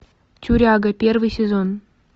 тюряга первый сезон